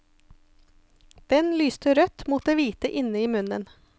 Den lyste rødt mot det hvite inne i munnen.